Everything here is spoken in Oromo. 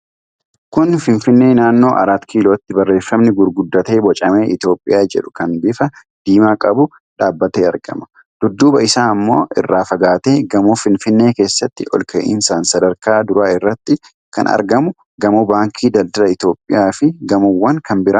Kun Finfinnee naannoo Araat Kilootti, barreefami gurguddate bocame Itoophiyaa jedhu kan bifa diimaa qabu dhaabatee argama. Dudduuba isaa ammoo irraa fagaatee gamoo Finfinnee keessatti olka'iinsaan sadarkaa duraa irratti kan argamu gamoo baankii Daldala Itoophiyaa fi gamoowwan kan biraan ni mul'atu.